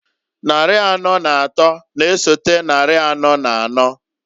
Nnarị anọọ n'atọọ n'esote nnari anọọ n'anọọ,